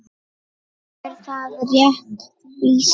Er það rétt lýsing?